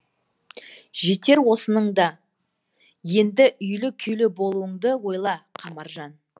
жетер осының да енді үйлі күйлі болуыңды ойла қамаржан